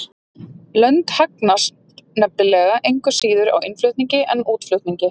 Lönd hagnast nefnilega engu síður á innflutningi en útflutningi.